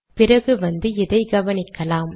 பிறகு வந்து இதை கவனிக்கலாம்